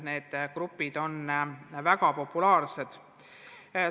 Need grupid on väga populaarsed ja see näitab, et soovi õppida õpetajatel on.